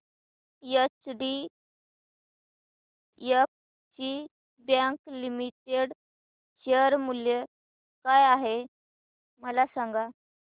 HDFC bank limited share मूल्य काय आहे मला सांगा